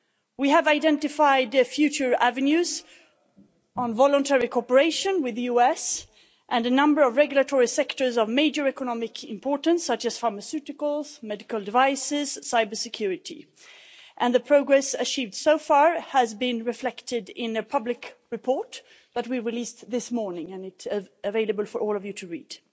We have identified future avenues on voluntary cooperation with the US and a number of regulatory sectors of major economic importance, such as pharmaceuticals, medical devices and cybersecurity, and the progress achieved so far has been reflected in a public report that we released this morning and is available for all of you to read.